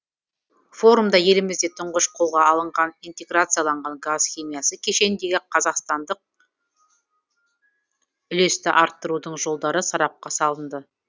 форумда елімізде тұңғыш қолға алынған интеграцияланған газ химиясы кешеніндегі қазақстандық үлесті арттырудың жолдары сарапқа салынды